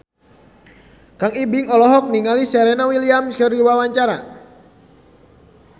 Kang Ibing olohok ningali Serena Williams keur diwawancara